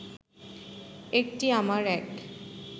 একটি আমার এক